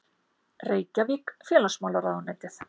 Reykjavík: Félagsmálaráðuneytið.